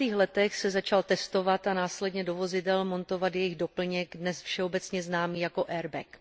70. letech se začal testovat a následně do vozidel montovat jejich doplněk, dnes všeobecně známý jako airbag.